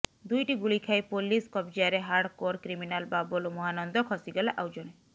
ଦୁଇଟି ଗୁଳି ଖାଇ ପୋଲିସ କବଜାରେ ହାର୍ଡକୋର କ୍ରିମିନାଲ ବାବଲୁ ମହାନନ୍ଦ ଖସିଗଲା ଆଉ ଜଣେ